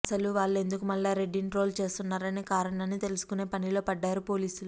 అసలు వాళ్లెందుకు మల్లారెడ్డిని ట్రోల్ చేస్తున్నారనే కారణాన్ని తెలుసుకునే పనిలో పడ్డారు పోలీసులు